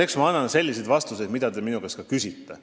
Eks ma annan vastuseid vastavalt sellele, mida te minu käest küsite.